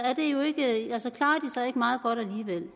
ikke meget godt alligevel